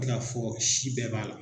N bɛ k'a fɔ si bɛɛ b'a la.